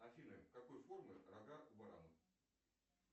афина какой формы рога у барана